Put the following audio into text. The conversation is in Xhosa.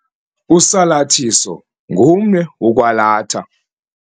Usalathiso ngumnwe wokwalatha.